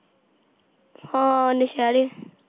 ਹਾਂ ਨਸ਼ੇਰੇ